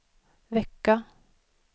vecka